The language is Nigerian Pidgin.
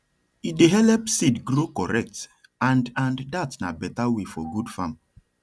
e dey help seed grow correct and and dat na better way for good farm